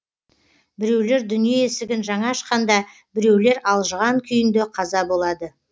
біреулер дүние есігін жаңа ашқанда біреулер алжыған күйінде қаза болады